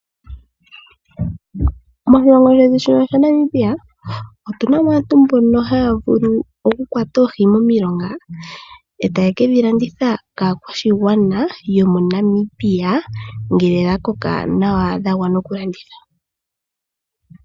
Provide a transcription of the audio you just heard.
Moshilongo shetu shino shaNamibia, otu na mo aantu mbono haa vulu okukwata oohi momilonga e taye ke dhi landitha kaakwashigwana yo moNamibia ngele dha koka nawa dha gwana oku landithwa.